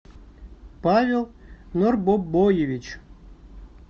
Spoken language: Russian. павел норбобоевич